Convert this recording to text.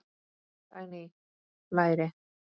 Dagný: Læri.